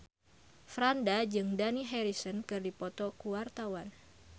Franda jeung Dani Harrison keur dipoto ku wartawan